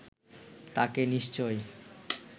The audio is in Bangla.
তাকে নিশ্চয়